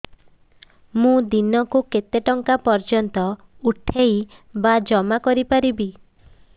ମୁ ଦିନକୁ କେତେ ଟଙ୍କା ପର୍ଯ୍ୟନ୍ତ ପଠେଇ ବା ଜମା କରି ପାରିବି